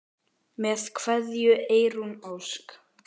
Með kveðju, Eyrún Ósk.